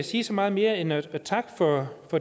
sige så meget mere end at takke for